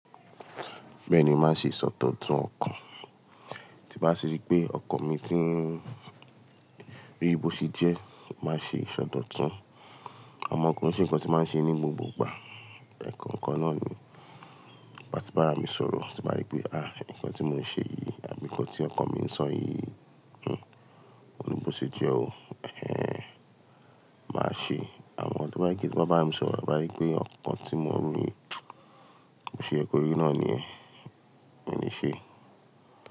Bẹ́ẹ̀ ni, mo màá ṣe ìsọdọ̀tun ọkàn. Tí bá ti rí pé ọkàn mi ti ń bí i bó ṣe jẹ́, màá ṣe ìsọdọ̀tun. Àmọ́ kò ń ṣe ǹkan tí màá ṣe ní gbogbo ìgbà. Ẹ̀ẹ̀kan kan náà ni. Tí bá ti bá ara mi sọ̀rọ̀, tí bàa rí pé, "àh! Ǹkan tí mò ń ṣe yìí àbí ǹkan tí ọkàn mi ń sọ yìí, hmmm, òun ni bó ṣe jẹ o, ẹhen." Màá ṣe. Àmọ́ tó bá jẹ́ pé tí mo bá bá ara mi sọ̀rọ̀, bàa rí pé ọkàn tí mò ń rí, bó ṣe yẹ kọ́ rí náà nìyẹn, mo ní ṣe.